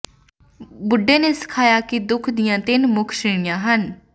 ਬੁੱਢਾ ਨੇ ਸਿਖਾਇਆ ਕਿ ਦੁਖ ਦੀਆਂ ਤਿੰਨ ਮੁੱਖ ਸ਼੍ਰੇਣੀਆਂ ਹਨ